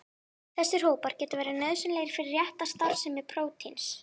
Þessir hópar geta verið nauðsynlegir fyrir rétta starfsemi prótíns.